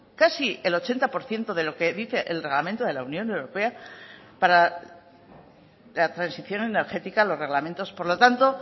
casi el ochenta por ciento de lo que dice el reglamento de la unión europea para la transición energética los reglamentos por lo tanto